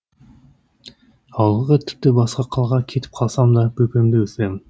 ауылға тіпті басқа қалаға кетіп қалсам да бөпемді өсіремін